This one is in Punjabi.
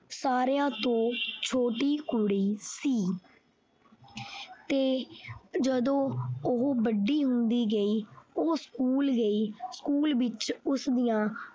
ਸਾਰਿਆਂ ਤੋਂ ਛੋਟੀ ਕੁੜੀ ਸੀ ਤੇ ਜਦੋਂ ਉਹ ਵੱਡੀ ਹੁੰਦੀ ਗਈ ਉਹ school ਗਈ school ਵਿੱਚ ਉਸਦੀਆਂ